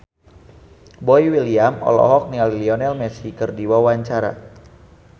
Boy William olohok ningali Lionel Messi keur diwawancara